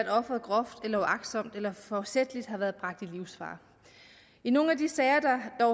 offeret groft uagtsomt eller forsætligt har været bragt i livsfare i nogle af de sager der